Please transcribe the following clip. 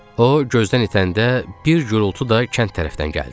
O gözdən itəndə bir gurultu da kənd tərəfdən gəldi.